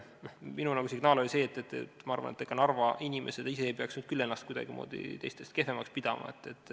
Minu signaal oli see, et Narva inimesed ise ei peaks nüüd küll ennast kuidagimoodi teistest kehvemaks pidama.